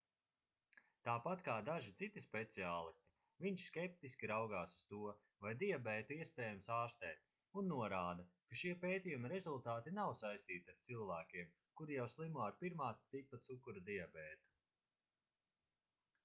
tāpat kā daži citi speciālisti viņš skeptiski raugās uz to vai diabētu iespējams ārstēt un norāda ka šie pētījuma rezultāti nav saistīti ar cilvēkiem kuri jau slimo ar 1. tipa cukura diabētu